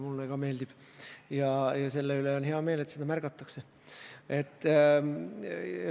Mulle ka meeldib ja selle üle on hea meel, et seda märgatakse.